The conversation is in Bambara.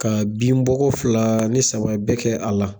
Ka binbɔ ko fila ni saba bɛ kɛ a la.